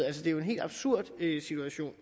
er jo en helt absurd situation